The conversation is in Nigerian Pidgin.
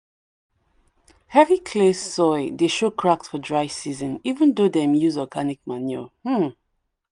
heavy clay soil dey show cracks for dry season even do dem use organic manure. um